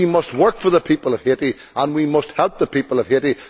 We must work for the people of Haiti and we must help the people of Haiti.